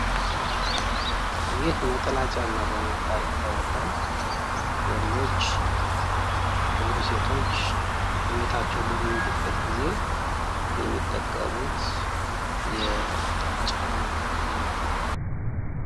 ይህ ነጠላ ጫማ በመባል ይታወቃል ወንዶች ወይም ሴቶች እቤታቸው በሚውሉበት ጊዜ የሚጠቀሙት የጫማ አይነት ነው።